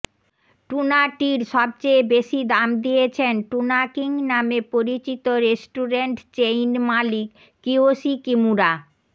টুনাটির সবচেয়ে বেশি দাম দিয়েছেন টুনা কিং নামে পরিচিত রেস্টুরেন্ট চেইন মালিক কিওশি কিমুরা